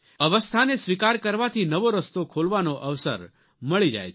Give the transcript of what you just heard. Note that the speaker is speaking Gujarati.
અવસ્થાને સ્વીકાર કરવાથી નવો રસ્તો ખોલવાનો અવસર મળી જાય છે